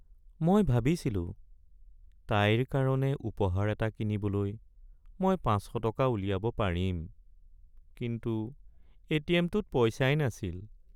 মই ভাবিছিলো তাইৰ কাৰণে উপহাৰ এটা কিনিবলৈ মই ৫০০ টকা উলিয়াব পাৰিম, কিন্তু এ.টি.এম.টোত পইচাই নাছিল।